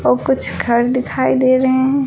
और कुछ घर दिखाई दे रहे हैं।